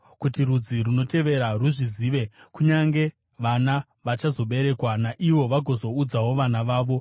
kuti rudzi runotevera ruzvizive, kunyange vana vachazoberekwa, naivo vagozoudzawo vana vavo.